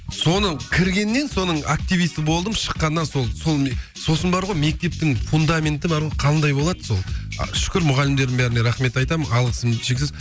соның кіргеннен соның активисі болдым шыққаннан сол сол сосын бар ғой мектептің фундаменті бар ғой қандай болады сол а шүкір мұғалімдердің бәріне рахмет айтамын алғысым шексіз